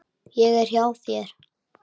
Ég er hjá þér.